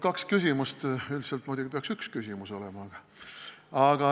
Kaks küsimust, kuigi üldiselt muidugi peaks üks küsimus olema.